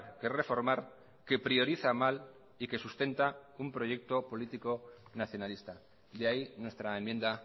que reformar que prioriza mal y que sustenta un proyecto político nacionalista de ahí nuestra enmienda